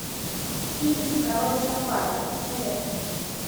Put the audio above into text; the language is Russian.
фильм король сафари посоветуй мне